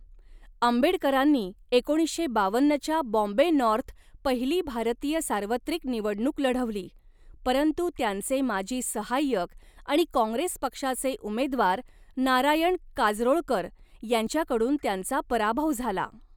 आंबेडकरांनी एकोणीसशे बावन्नच्या बॉम्बे नॉर्थ पहिली भारतीय सार्वत्रिक निवडणुक लढवली, परंतु त्यांचे माजी सहाय्यक आणि काँग्रेस पक्षाचे उमेदवार नारायण काजरोळकर यांच्याकडून त्यांचा पराभव झाला.